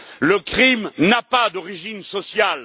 Le crime n'a pas d'origine sociale.